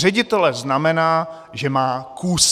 Ředitele zajímá, že má kus.